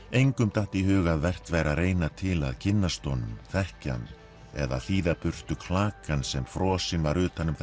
engum datt í hug að vert væri að reyna til að kynnast honum þekkja hann eða þíða burtu klakann sem frosinn var utan um